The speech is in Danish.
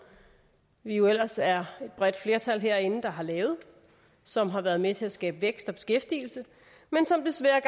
vi jo ellers er et bredt flertal herinde der har lavet og som har været med til at skabe vækst og beskæftigelse men som desværre